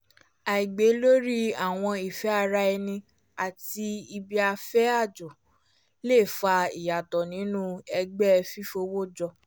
àìbáyé lórí àwọn ìfé ara ẹni àti ibi-afẹ́ ajọ le fa ìyàtọ̀ nínú ẹgbẹ́ fífowó jọ